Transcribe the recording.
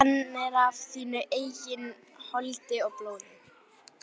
Hann er af þínu eigin holdi og blóði!